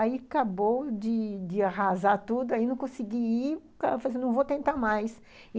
Aí acabou de de arrasar tudo, aí não consegui ir, não vou tentar mais.